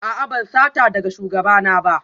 A'a ban sata daga shugabana ba